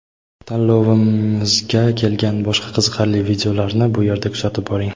Tanlovimizga kelgan boshqa qiziqarli videolarni bu erda kuzatib boring.